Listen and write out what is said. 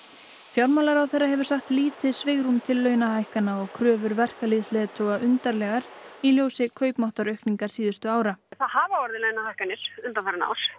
fjármálaráðherra hefur sagt lítið svigrúm til launahækkana og kröfur verkalýðsleiðtoga undarlegar í ljósi kaupmáttaraukningar síðustu ára það hafa orðið launahækkanir undanfarin ár